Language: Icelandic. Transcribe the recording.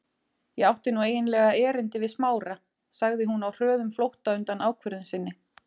Ég átti nú eiginlega erindi við Smára- sagði hún á hröðum flótta undan ákvörðun sinni.